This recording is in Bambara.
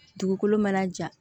Dugukolo mana ja